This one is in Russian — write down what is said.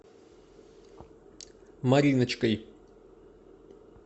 мариночкой